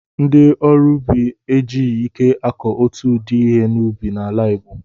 Ndị ọrụ ubi e jighị ike akụ otu ụdị ihe ubi n'ala Igbo.